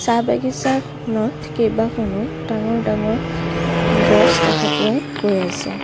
চাহ বাগিচাখনত কেইবাখনো ডাঙৰ ডাঙৰ গছ দেখা পোৱা গৈ আছে।